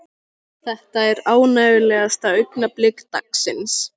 Þetta er ánægjulegasta augnablik dagsins.